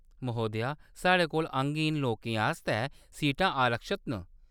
महोदया, साढ़े कोल अंगहीन लोकें आस्तै सीटां आरक्षत न।